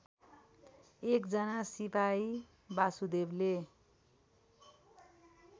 एकजना सिपाही वासुदेवले